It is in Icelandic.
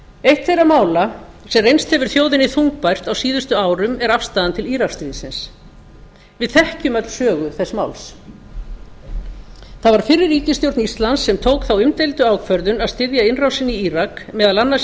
eitt þeirra mála sem reynst hefur þjóðinni þungbært á síðustu árum er afstaðan til íraksstríðsins við þekkjum öll sögu þess máls það var fyrri ríkisstjórn íslands sem tók þá umdeildu ákvörðun að styðja innrásina í írak meðal annars í